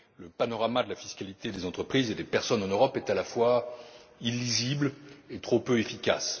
Le panorama de la fiscalité des entreprises et des personnes en Europe est à la fois illisible et trop peu efficace.